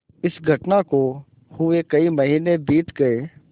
इस घटना को हुए कई महीने बीत गये